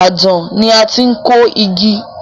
Ibadan ni a ti n kó igi.